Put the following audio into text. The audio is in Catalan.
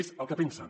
és el que pensen